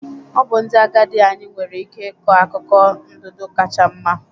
Ọ bụ ndị agadi anyị nwere ike ịkọ akụkọ ndụdụ kacha mma